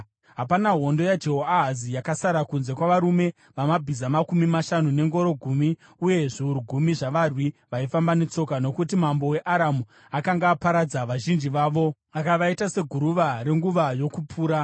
Hapana hondo yaJehoahazi yakasara kunze kwavarume vamabhiza makumi mashanu, nengoro gumi uye zviuru gumi zvavarwi vaifamba netsoka, nokuti mambo weAramu akanga aparadza vazhinji vavo akavaita seguruva renguva yokupura.